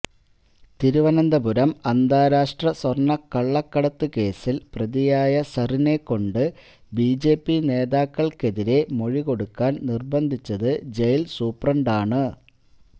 തിരുവനന്തപുരം അന്താരാഷ്ട്ര സ്വര്ണ്ണക്കള്ളക്കടത്ത് കേസില് പ്രതിയായ സരിനെ കൊണ്ട് ബിജെപി നേതാക്കള്ക്കെതിരെ മൊഴി കൊടുക്കാന് നിര്ബന്ധിച്ചത് ജയില് സൂപ്രണ്ടാണ്